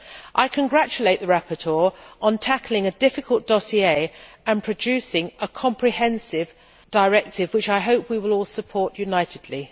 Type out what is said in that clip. I congratulate the rapporteur on tackling a difficult dossier and producing a comprehensive directive which, I hope, we will all support unitedly.